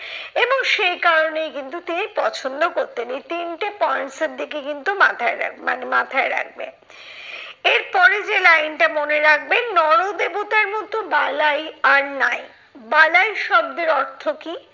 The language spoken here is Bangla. এবং সেই কারণেই কিন্তু তিনি পছন্দ করতেন। এই তিনটে points এর দিকে কিন্তু মাথায় রাখবে মানে মাথায় রাখবে। এর পরে যে line টা মনে রাখবে, নর দেবতার মতো বালাই আর নাই। বালাই শব্দের অর্থ কি?